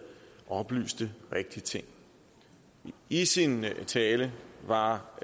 oplyste rigtige ting i sin tale var